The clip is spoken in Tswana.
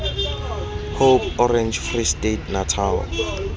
hope orange free state natal